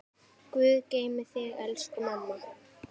Guð geymi þig, elsku mamma.